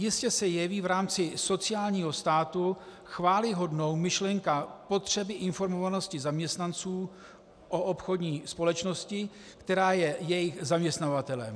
Jistě se jeví v rámci sociálního státu chvályhodnou myšlenka potřeby informovanosti zaměstnanců o obchodní společnosti, která je jejich zaměstnavatelem.